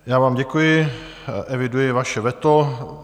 Já vám děkuji, eviduji vaše veto.